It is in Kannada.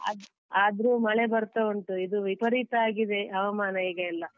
ಅದ್~ ಆದ್ರೂ ಮಳೆ ಬರ್ತಾ ಉಂಟು ಇದು ವಿಪರೀತ ಆಗಿದೆ ಹವಾಮಾನ ಈಗ ಎಲ್ಲ.